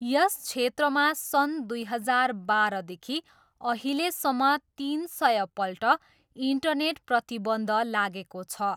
यस क्षेत्रमा सन् दुई हजार बाह्रदेखि अहिलेसम्म तिन सयपल्ट इन्टरनेट प्रतिबन्ध लागेको छ।